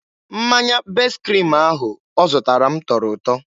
Mmanya best kriim ahụ ọ zụtara m tọrọ ụtọ.